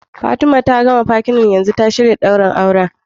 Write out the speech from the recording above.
Fatima ta gama Fatten dinta yanzu ta shirya daurin aure